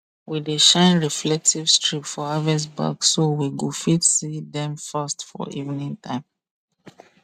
we dey shine reflective strip for harvest bag so we go fit see dem fast for evening time